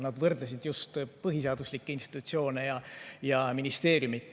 Nad võrdlesid just põhiseaduslikke institutsioone ja ministeeriume.